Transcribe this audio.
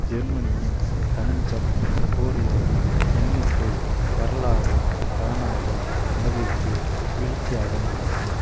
ஜெர்மனியின் தஞ்சம் கோருவோரின் எண்ணிக்கை வரலாறு காணாத அளவிற்கு வீழ்ச்சியடைந்துள்ளது